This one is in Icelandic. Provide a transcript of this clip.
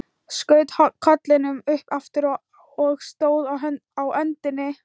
Skaut kollinum upp aftur og stóð á öndinni.